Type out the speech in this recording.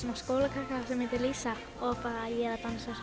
skólakrakka sem heitir Lísa og ég er að dansa